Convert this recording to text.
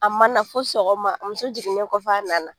A ma na fɔ sɔgɔma muso jiginnen kɔfɛ a nana